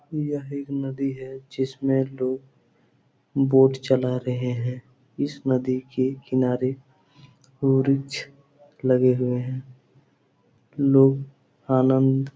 यह एक नदी है । जिसमे लोग बोट चला रहे हैं । इस नदी के किनारे वृक्ष लगे हुए हैं । लोग आनंद --